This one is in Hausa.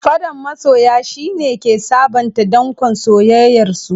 Faddan masoya, shi ne ke sabonta dankon soyayyarsu.